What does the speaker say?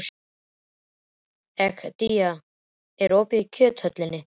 Egedía, er opið í Kjöthöllinni?